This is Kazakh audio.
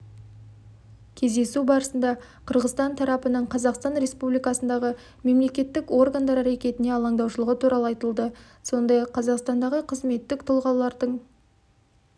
кездесу барысында қырғызстан тарапының қазақстан республикасындағы мемлекеттік органдар әрекетіне алаңдаушылығы туралы айтылды сондай-ақ қазақстандағы қызметтік тұлғалардық